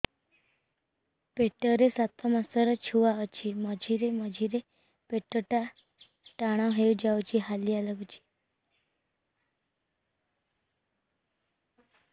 ପେଟ ରେ ସାତମାସର ଛୁଆ ଅଛି ମଝିରେ ମଝିରେ ପେଟ ଟାଣ ହେଇଯାଉଚି ହାଲିଆ ଲାଗୁଚି